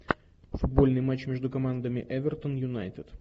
футбольный матч между командами эвертон юнайтед